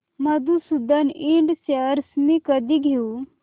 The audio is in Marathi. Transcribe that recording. मधुसूदन इंड शेअर्स मी कधी घेऊ